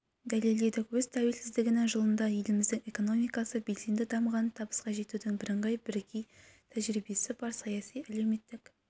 дәлелдедік өз тәуелсіздігінің жылында еліміздің экономикасы белсенді дамыған табысқа жетудің бірыңғай бірегей тәжірибесі бар саяси-әлеуметтік